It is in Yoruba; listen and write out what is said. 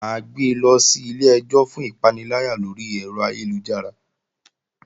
Mà á gbe lọ sí ilé-ẹjọ́ fún ìpaniláyà lórí ẹ̀rọ ayélujára